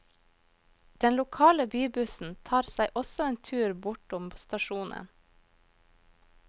Den lokale bybussen tar seg også en tur bortom stasjonen.